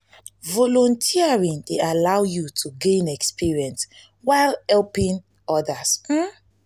volunteering dey allow yu to gain experience while helping odas.